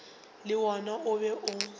le wona o be o